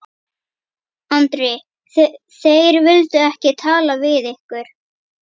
Andri: Þeir vildu ekki tala við ykkur?